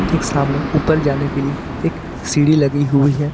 ठीक सामने ऊपर जाने के लिए एक सीढ़ी लगी हुई है।